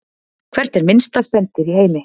Hvert er minnsta spendýr í heimi?